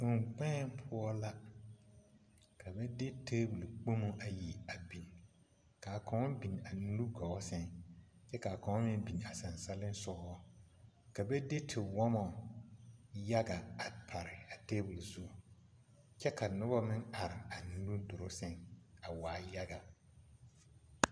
Kɔŋ kpèè poɔ la ka ba de tabole kpomo ayi a biŋ kaa kaŋ bin a nugɔɔ sɛŋ kyɛ kaa kaŋ meŋ binaa saliŋsugɔ ka ba de tiwɔmɔ yaga a pare a tabole zu kyɛ ka nobɔ meŋ are a nu druu sɛŋ a waa yaga.